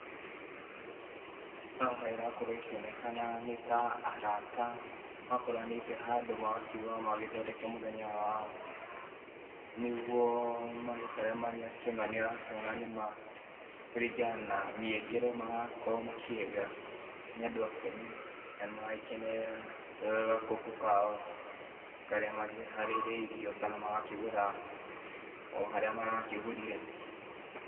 Haha ĩrakorwo ĩkĩonekana nĩ ta arata makoranĩte handũ magakiuga magĩthondeke mũthenya wao, nĩguo magĩikare marĩ akenu, nĩ ũrakĩona nĩ maa kũringana na mĩengere marakorwo makĩenga, nĩ andũ akenu na nĩ maragĩkenerera gakũkũ kao karĩa makĩharĩrĩirio kana magakĩgũra o harĩa marakĩgũrire.